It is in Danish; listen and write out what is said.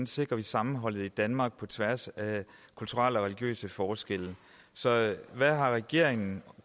sikrer sammenholdet i danmark på tværs af kulturelle og religiøse forskelle så hvad har regeringen